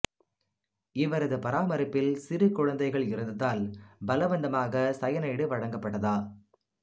இவரது பராமரிப்பில் சிறு குழந்தைகள் இருந்ததால் பலவந்தமாக சயனைடு வழங்கப்பட்டதா